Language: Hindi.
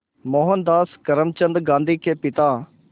मोहनदास करमचंद गांधी के पिता